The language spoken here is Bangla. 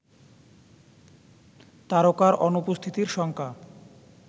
তারকার অনুপস্থিতির শঙ্কা